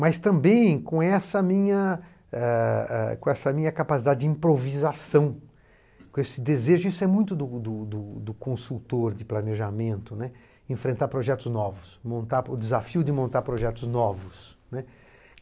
Mas também com essa minha, é... é... com essa minha capacidade de improvisação, com esse desejo, isso é muito do do do do consultor de planejamento, né, enfrentar projetos novos, montar, o desafio de montar projetos novos, né.